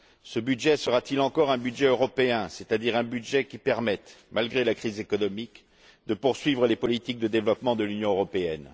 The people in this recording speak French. Ce budget sera t il encore un budget européen, c'est à dire un budget qui permette, malgré la crise économique, de poursuivre les politiques de développement de l'Union européenne?